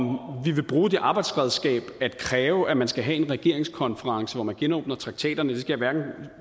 vi vil bruge det arbejdsredskab at kræve at man skal have en regeringskonference hvor man genåbner traktaterne skal jeg